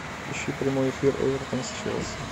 ищи прямой эфир эвертон с челси